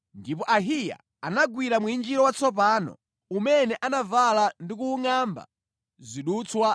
ndipo Ahiya anagwira mwinjiro watsopano umene anavala ndi kuwungʼamba zidutswa 12.